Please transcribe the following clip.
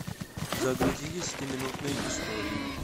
загрузи десятиминутные истории